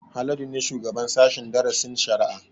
Haladu ne shugaban sashen darasin shari'a